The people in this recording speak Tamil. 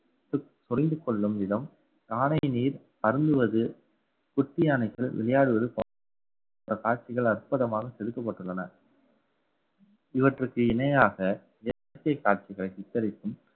பொரிந்து கொள்ளும் விதம் பானை நீர் அருந்துவது குட்டி யானைகள் விளையாடுவது போன்ற காட்சிகள் அற்புதமாக செதுக்கப்பட்டுள்ளன இவற்றுக்கு இணையாக இயற்கை காட்சிகள் சித்தரித்தும்